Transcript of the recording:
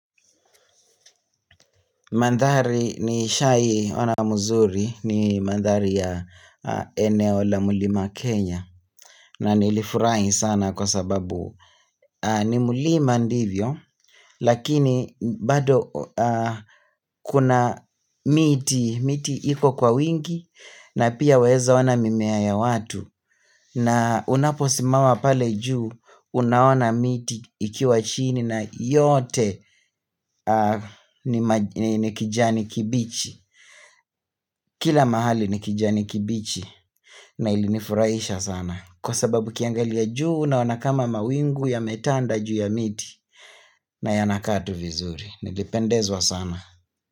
Mandhari nishai ona mzuri ni mandhari ya eneo la mulima Kenya na nilifurahi sana kwa sababu ni mulima ndivyo lakini bado kuna miti, miti iko kwa wingi na pia unweza ona mimea ya watu na unaposimama pale juu unaona miti ikiwa chini na yote ni kijani kibichi. Kila mahali ni kijani kibichi na ilinifuraisha sana Kwa sababu ukiangalia juu unaona kama mawingu ya metanda juu ya miti na yanakaa tu vizuri Nilipendezwa sana.